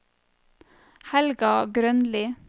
Helga Grønli